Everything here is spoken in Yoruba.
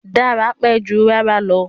Dára pẹ́ jù rárá lọ